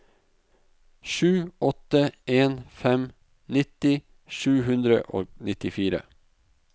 sju åtte en fem nitti sju hundre og nittifire